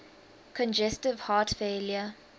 congestive heart failure